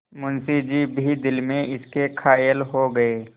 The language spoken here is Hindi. मुंशी जी भी दिल में इसके कायल हो गये